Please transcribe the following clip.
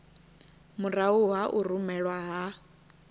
murahu ha u rumelwa ha